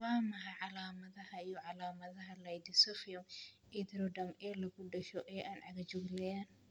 Waa maxay calaamadaha iyo calaamadaha Ichthyosiform erythroderma ee lagu dhasho ee aan cagajugleyn?